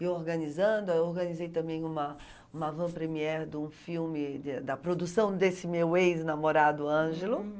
E organizando, eu organizei também uma uma van premiere de um filme de da produção desse meu ex-namorado, Ângelo.